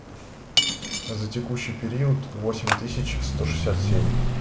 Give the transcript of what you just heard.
а за текущий период восемь тысяч сто шестьдесят семь